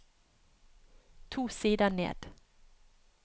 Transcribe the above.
To sider ned